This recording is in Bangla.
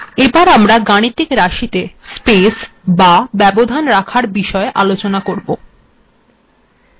আমরা এবার গাণিতিক রািশতে় স্পেস বা ব্যবধান রাখার বিষয় আলোচনা করব